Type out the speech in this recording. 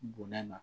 Bonya na